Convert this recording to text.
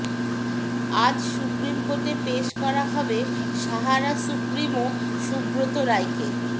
আজ সুপ্রিমকোর্টে পেশ করা হবে সাহারা সুপ্রিমো সুব্রত রায়কে